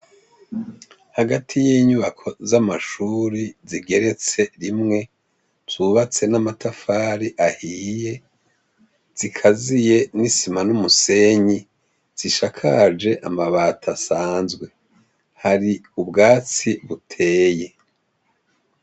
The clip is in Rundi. Hagati y'inyubako z'amashuri zigeretse rimwe ubatse n'amatafari ahiye zikaziye n'isima n'umusenyi zishakaje amabato asanzwe hari ubwatsi buteye.